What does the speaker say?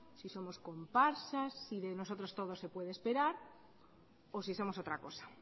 si somos comparsas si de nosotros todo se puede esperar o si somos otra cosa